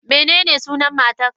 Menene sunan matarka?